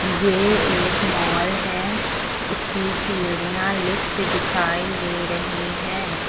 ये एक मॉल है इसकी सीढ़ियां लिफ्ट दिखाई दे रही हैं।